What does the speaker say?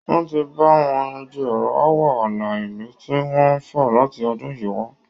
Wọ́n ti ń bá wọn yanjú ọ̀rọ̀ aáwọ̀ ààlà ìlú tí wọn ń fà láti ọdún yìí wá